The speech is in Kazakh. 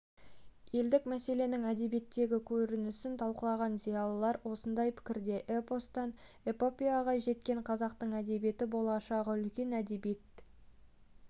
елдік мәселенің әдебиеттегі көрінісін талқылаған зиялылар осындай пікірде эпостан эпопеяға жеткен қазақтың әдебиеті болашағы үлкен әдебиет